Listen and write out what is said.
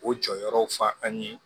O jɔyɔrɔw fɔ an ye